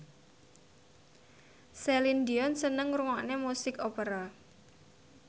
Celine Dion seneng ngrungokne musik opera